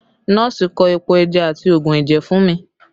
Nọ́ọ̀sì kọ epo ẹja àti oogun ẹ̀jẹ̀ fún mi